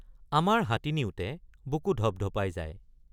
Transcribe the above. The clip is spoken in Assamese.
আমাৰ হাতী নিওঁতে বুকু ধপধপাই যায়।